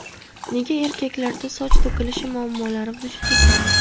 Nega erkaklarda soch to‘kilishi muammolari vujudga keladi?.